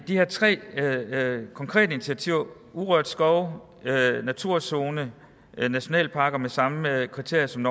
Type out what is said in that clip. de her tre konkrete initiativer urørt skov naturzone nationalparker med samme kriterier som